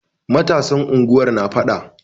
Matasan unguwar na faɗa.